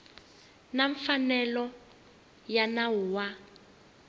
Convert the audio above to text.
na mfanelo ya nawu wa